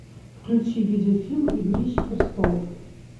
включи видеофильм игрища престолов